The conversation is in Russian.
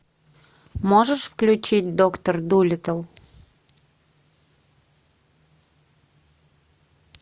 можешь включить доктор дулиттл